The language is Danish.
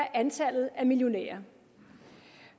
antallet af millionærer